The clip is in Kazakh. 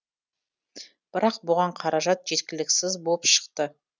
бірақ бұған қаражат жеткіліксіз болып шықты